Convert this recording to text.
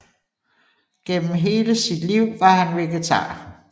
Gennem hele sit liv var han vegetar